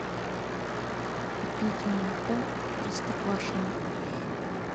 купить молоко простоквашино